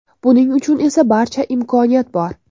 Buning uchun esa barcha imkoniyat bor!